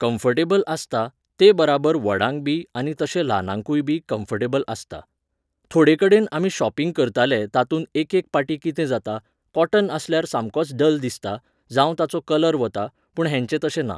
Comfortable आसता, तेबराबर व्हडांक बी आनी तशें ल्हानांकूयबी कम्फर्टेबल आसता. थोडेकडेन आमी शॉपिंग करताले तातूंत एकेक पाटीं कितें जाता, कॉटन आसल्यार सामकोच डल दिसता, जावं ताचो कलर वता, पूण हेंचें तशें ना.